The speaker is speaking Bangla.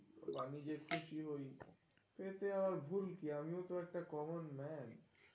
আমি যে করছি ওই, এতে আর ভুল কি? আমি ও তো একটা common man